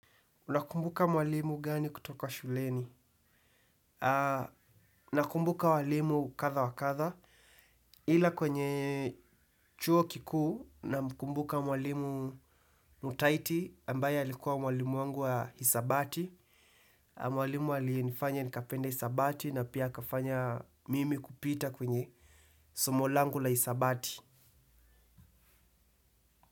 Unakumbuka mwalimu gani kutoka shuleni? Nakumbuka mwalimu kadha wa kadha. Ila kwenye chuo kikuu namkumbuka mwalimu mutaiti ambaye alikuwa mwalimu wangu wa hisabati. Mwalimu alinifanya nikapenda hisabati na pia akafanya mimi kupita kwenye somo langu la hisabati.